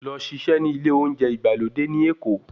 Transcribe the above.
Lọ ṣiṣẹ́ ní ilé oúnjẹ ìgbàlódé ní Èkó.